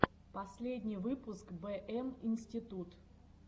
последний выпуск бэ эм институт